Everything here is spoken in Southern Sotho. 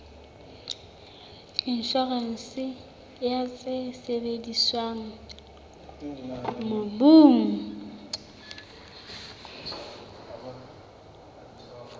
inshorense ya tse sebediswang mobung